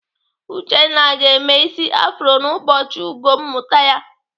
Uchenna ga-eme ịsị afro n'ụbọchị ugo mmụta ya.